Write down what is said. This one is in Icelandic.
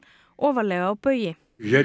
ofarlega á baugi